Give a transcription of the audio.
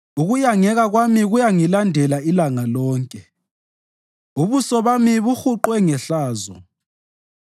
Ukuyangeka kwami kuyangilandela ilanga lonke, ubuso bami buhuqwe ngehlazo,